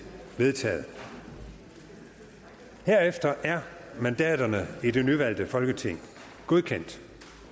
vedtaget herefter er mandaterne i det nyvalgte folketing godkendt